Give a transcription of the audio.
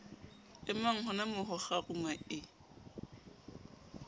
emang honamoo ho kgaruma e